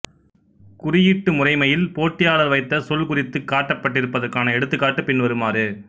குறியீட்டு முறைமையில் போட்டியாளர் வைத்த சொல் குறித்துக் காட்டப்பட்டிருப்பதற்கான எடுத்துக்காட்டு பின்வருமாறு